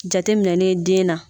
Jateminɛnen den na